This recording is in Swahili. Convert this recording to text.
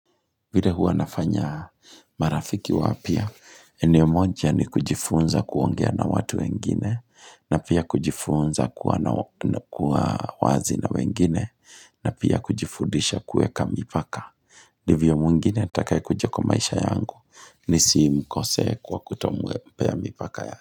Vile huwa nafanya marafiki wapya, ene mmoja ya ni kujifunza kuongea na watu wengine, na pia kujifunza kuwa wazi na wengine, na pia kujifudisha kueka mipaka. Ndivyo mwengine, atakae kuja kwa maisha yangu, nisimkose kwa kutompea mipaka yake.